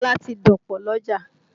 Ilá ti dọ̀pọ̀ lọ́jà